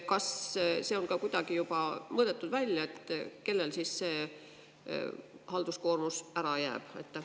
Kas see on ka kuidagi välja mõõdetud, et kellel siis see halduskoormus ära jääb?